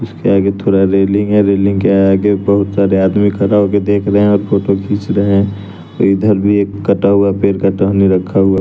इसके आगे थोड़ा रेलिंग है रेलिंग के आगे बहुत सारे आदमी खड़ा होके देख रहे हैं और फोटो खींच रहें इधर भी एक कटा हुआ पेड़ का टहनी रखा हुआ --